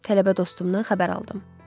Tələbə dostumdan xəbər aldım.